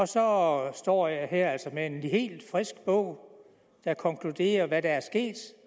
så står jeg her med en helt frisk bog der konkluderer hvad der er sket